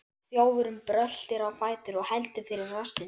Þjófurinn bröltir á fætur og heldur fyrir rassinn.